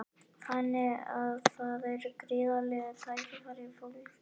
Þannig að það eru gríðarleg tækifæri fólgin í þessu?